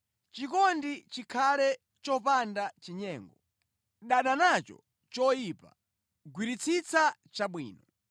Chikondi chikhale chopanda chinyengo. Dana nacho choyipa; gwiritsitsa chabwino.